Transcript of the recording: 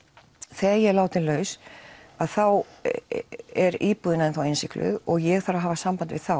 þegar ég er látin laus þá er íbúðin enn þá innsigluð og ég þarf að hafa samband við þá